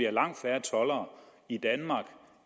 er langt færre toldere i danmark